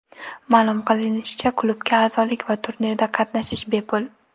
Ma’lum qilinishicha, klubga a’zolik va turnirda qatnashish bepul.